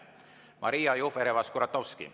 Maria Jufereva-Skuratovski.